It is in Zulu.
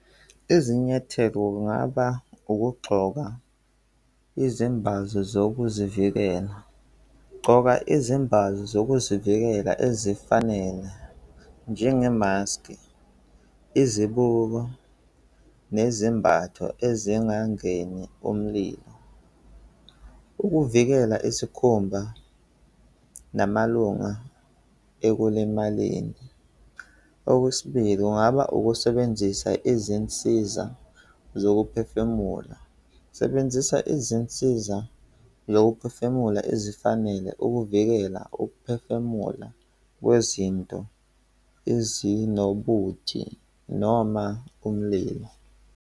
Izinyathelo kungaba ukugxoka izimbazo zokuzivikela. Gxoka izimbazo zokuzivikela ezifanele njengemaskhi, izibuko, nezimbatho ezingangeni umlilo, ukuvikela isikhumba namalunga ekulimaleni. Okwesibili, kungaba ukusebenzisa izinsiza zokuphefumula. Sebenzisa izinsiza zokuphefumula ezifanele ukuvikela ukuphefumula kwezinto ezinobuthi noma umlilo.